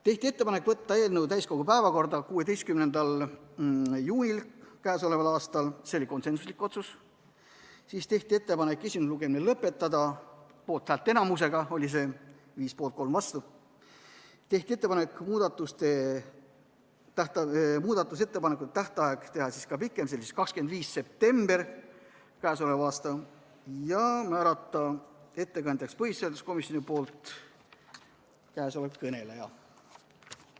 Tehti ettepanek võtta eelnõu täiskogu päevakorda 16. juunil k.a , tehti ettepanek esimene lugemine lõpetada , tehti ettepanek, et muudatusettepanekute tähtaeg oleks pikem, s.o 25. september k.a, ja määrati põhiseaduskomisjoni ettekandjaks siinkõneleja.